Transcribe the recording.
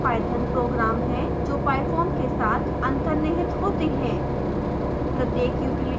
utilities Python program है जो pyfoam के साथ अंतर्निहित होते हैं